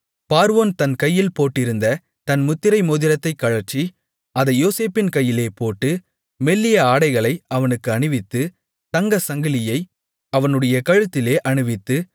பார்வோன் தன் கையில் போட்டிருந்த தன் முத்திரை மோதிரத்தைக் கழற்றி அதை யோசேப்பின் கையிலே போட்டு மெல்லிய ஆடைகளை அவனுக்கு அணிவித்து தங்கச் சங்கிலியை அவனுடைய கழுத்திலே அணிவித்து